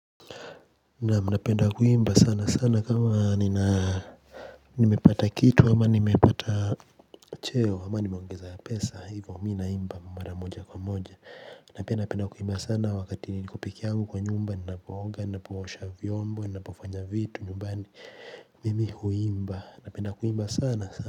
Nam napenda kuimba sana sana kama nina nimepata kitu ama ni mepata cheo ama nimeongeza pesa hivyo mi naimba mara moja kwa moja. Na penda kuimba sana wakati niko pekee yangu kwa nyumba ninapooga ni napoosha vyombo ni napofanya vitu nyumbani mimi huimba na penda kuimba sana sana.